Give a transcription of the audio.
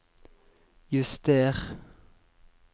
juster